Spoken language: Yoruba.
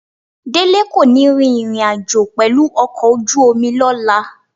Délé kò ní rìnrìn àjò pẹ̀lú ọkọ̀ ojú omi lọ́la